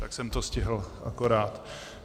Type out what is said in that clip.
Tak jsem to stihl akorát.